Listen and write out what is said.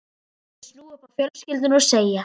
Þessu mætti snúa upp á fjölskylduna og segja